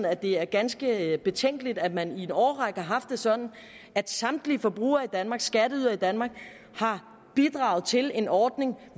at det er ganske betænkeligt at man i en årrække har haft det sådan at samtlige forbrugere i danmark samtlige skatteydere i danmark har bidraget til en ordning